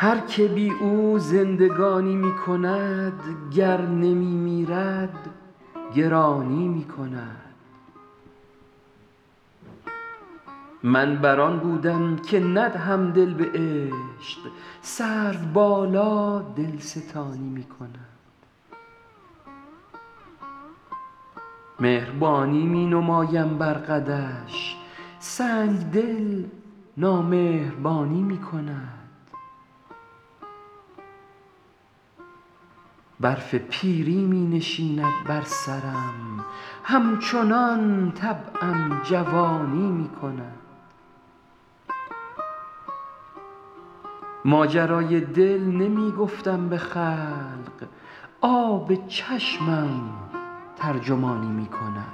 هر که بی او زندگانی می کند گر نمی میرد گرانی می کند من بر آن بودم که ندهم دل به عشق سروبالا دلستانی می کند مهربانی می نمایم بر قدش سنگدل نامهربانی می کند برف پیری می نشیند بر سرم همچنان طبعم جوانی می کند ماجرای دل نمی گفتم به خلق آب چشمم ترجمانی می کند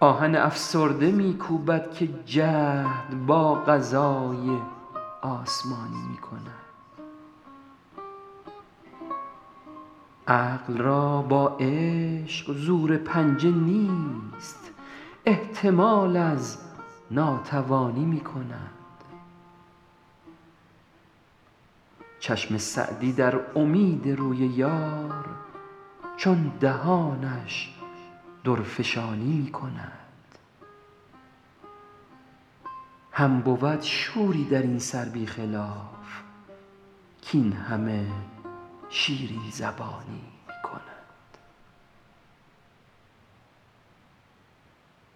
آهن افسرده می کوبد که جهد با قضای آسمانی می کند عقل را با عشق زور پنجه نیست احتمال از ناتوانی می کند چشم سعدی در امید روی یار چون دهانش درفشانی می کند هم بود شوری در این سر بی خلاف کاین همه شیرین زبانی می کند